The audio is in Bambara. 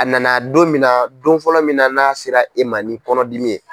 A nana don min na don fɔlɔ min na n'a sera e ma ni kɔnɔdimi ye.